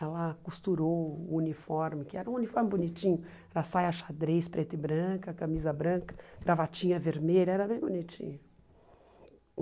Ela costurou o uniforme, que era um uniforme bonitinho, era saia xadrez, preta e branca, camisa branca, gravatinha vermelha, era bem bonitinho.